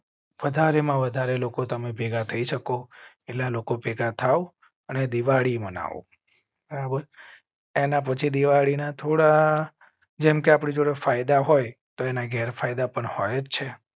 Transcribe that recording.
વધારે માં વધારે લોકો ભેગા થઈ શકો. લોકો ભેગા થાવ. એના પછી દિવાળી ના થોડા જેમ કે આપ ને ફાયદા હોય તો એના ગેરફાયદા પણ હોય છે.